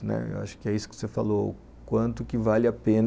Né, eu acho que é isso que você falou, o quanto que vale a pena